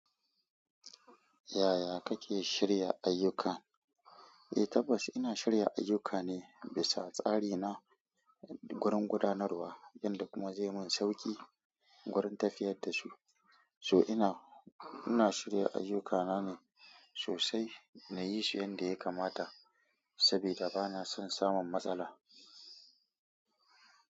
Yaya kake shirya ayyuka? Eh tabbas ina shirya ayyukana bisa tsari na gurin gudanarwa wanda kuma zai mun sauki gurin tafiyar da su. So ina, ina shirya ayyukana ne sosai na yi su yanda ya kamata saboda bana son samun matsala.